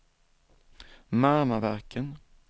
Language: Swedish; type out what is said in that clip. Marmaverken